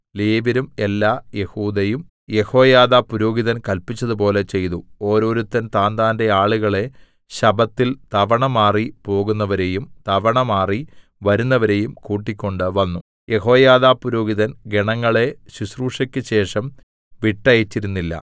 ലേവ്യരും എല്ലാ യെഹൂദയും യെഹോയാദാ പുരോഹിതൻ കല്പിച്ചതുപോലെ ചെയ്തു ഓരോരുത്തൻ താന്താന്റെ ആളുകളെ ശബ്ബത്തിൽ തവണമാറിപ്പോകുന്നവരെയും തവണമാറി വരുന്നവരെയും കൂട്ടിക്കൊണ്ട് വന്നു യെഹോയാദാ പുരോഹിതൻ ഗണങ്ങളെ ശുശ്രൂഷക്കുശേഷം വിട്ടയച്ചിരുന്നില്ല